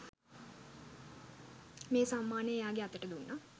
මේ සම්මානය එයාගෙ අතට දුන්නා.